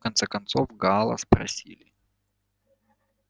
в конце концов гаала спросили